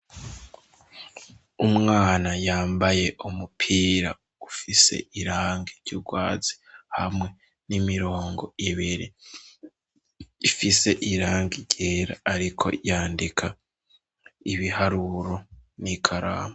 Umwana yambaye umupira ufise irange ry'urwazi hamwe n'imirongo ibire ifise irange ryera, ariko yandika ibiharuro n'ikaramu.